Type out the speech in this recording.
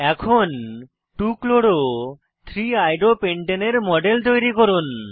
এখন 2 chloro 3 iodo পেন্টানে এর মডেল তৈরি করুন